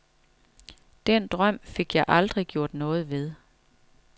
Den drøm fik jeg aldrig gjort noget ved.